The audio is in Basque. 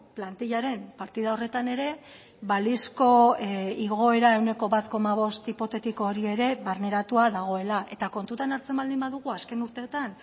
plantilaren partida horretan ere balizko igoera ehuneko bat koma bost hipotetiko hori ere barneratua dagoela eta kontutan hartzen baldin badugu azken urteetan